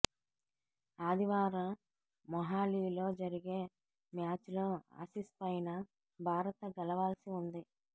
ఆదివారం మొహాలీలో జరిగే మ్యాచ్లో ఆసిస్ పైన భారత్ గెలవాల్సి ఉంది